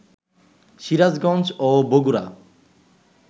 সিরাজগঞ্জ ও বগুড়া